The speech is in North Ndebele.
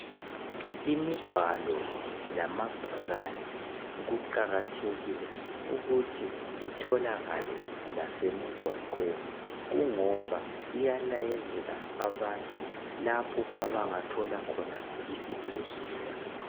Imibhalo lamabhakane kuqakathekile ukuthi itholakale lasemigwaqweni kungoba iyalayezela abantu lapho abangathola khona isibhedlela